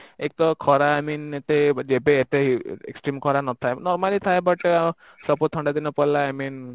ଏକ ତ ଖରା I mean ଏତେ ଯେବେ ଏତେ ଖରା ନଥାଏ normally ଥାଏ but ସବୁ ଥଣ୍ଡା ଦିନ ପଳେଇଲା I mean